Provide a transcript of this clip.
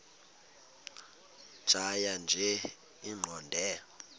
tjhaya nje iqondee